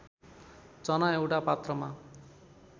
चना एउटा पात्रमा